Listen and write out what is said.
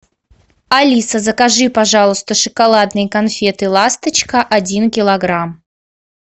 алиса закажи пожалуйста шоколадные конфеты ласточка один килограмм